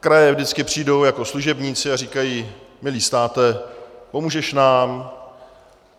Kraje vždycky přijdou jako služebníci a říkají: milý státe, pomůžeš nám?